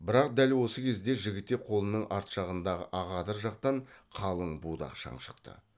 бірақ дәл осы кезде жігітек қолының арт жағындағы ақадыр жақтан қалың будақ шаң шықты